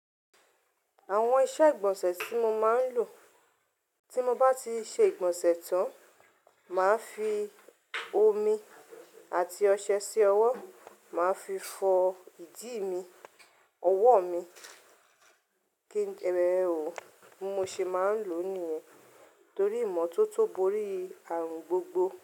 Àwọn iṣẹ́ ìgbọ̀nsẹ̀ tí mo máa ń lò, tí mo bá ti ṣe ìgbọ̀nsẹ̀ tán, màá fi omi àti ọṣẹ sí ọwọ́, màá fi fọ ìdí mi, ọwọ́ mi. Kíni ẹrọ bi mo ṣe máa ń lò nìyẹn. Torí ìmọ́tótó borí àrùn gbogbo.